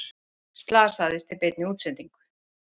Slasaðist í beinni útsendingu